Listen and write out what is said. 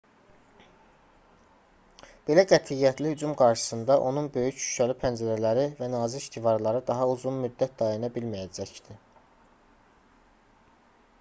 belə qətiyyətli hücum qarşısında onun böyük şüşəli pəncərələri və nazik divarları daha uzun müddət dayana bilməyəcəkdi